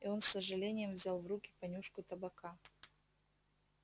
и он с сожалением взял в руки понюшку табака